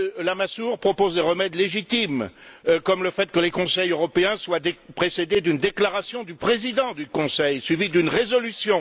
Lamassoure propose des remèdes légitimes, comme le fait que les Conseils européens soient précédés d'une déclaration du président du Conseil, suivie d'une résolution.